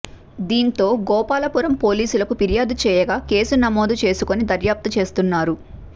దీంతో గోపాలపురం పోలీసులకు ఫిర్యాదు చేయగా కేసు నమోదు చేసుకొని దర్యాప్తు చేస్తున్నారు